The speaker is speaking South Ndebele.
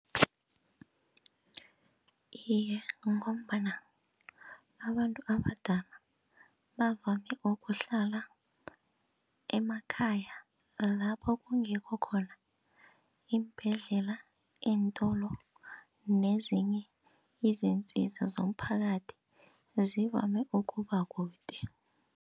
Iye, ngombana abantu abadala bavame ukuhlala emakhaya lapho kungekho khona iimbhedlela, iintolo nezinye izintsiza zomphakathi zivame ukuba kude.